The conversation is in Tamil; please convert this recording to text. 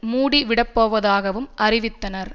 மூடிவிடப்போவதாகவும் அறிவித்தனர்